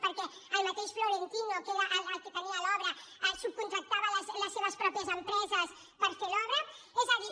perquè el mateix florentino que era qui tenia l’obra subcontractava les seves pròpies empreses per fer l’obra és a dir